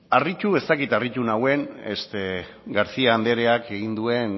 harritu ez dakit harritu nauen garcía andreak egin duen